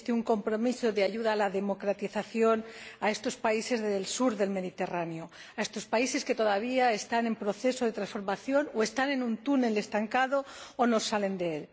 Existe un compromiso de ayuda a la democratización a estos países del sur del Mediterráneo, a estos países que todavía están en proceso de transformación o están en un túnel estancados o no salen de él.